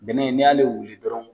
Bɛnɛ n'i y'ale wuli dɔrɔn